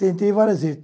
Tentei várias vezes.